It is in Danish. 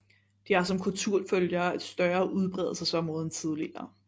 De har som kulturfølgere et større udbredelsesområde end tidligere